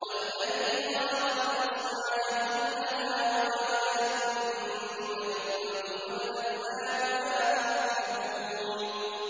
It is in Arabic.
وَالَّذِي خَلَقَ الْأَزْوَاجَ كُلَّهَا وَجَعَلَ لَكُم مِّنَ الْفُلْكِ وَالْأَنْعَامِ مَا تَرْكَبُونَ